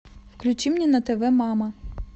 включи мне на тв мама